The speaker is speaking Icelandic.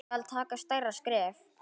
Skal taka stærra skref?